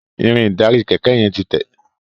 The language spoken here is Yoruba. Irin ìdarí kéké yen tí Te.